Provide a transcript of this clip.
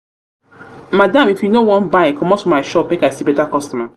madam if you no wan buy commot for my shop make i see better customer